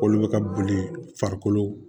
Olu bɛ ka boli farikolo